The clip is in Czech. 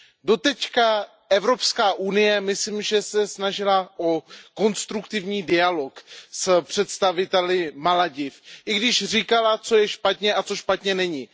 Doteď se Evropská unie, myslím, snažila o konstruktivní dialog s představiteli Malediv, i když říkala, co je špatně a co špatně není.